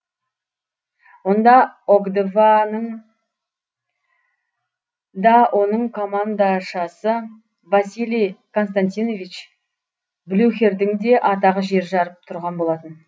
онда окдва ның да оның командашасы василий константинович блюхердің де атағы жер жарып тұрған болатын